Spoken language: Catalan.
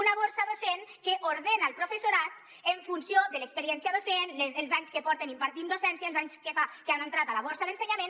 una borsa docent que ordena el professorat en funció de l’experiència docent els anys que porten impartint docència els anys que fa que han entrat a la borsa d’ensenyament